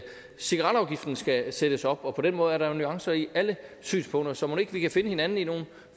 cigaretafgiften skal sættes op og på den måde er der jo nuancer i alle synspunkter så mon ikke vi kan finde hinanden i nogle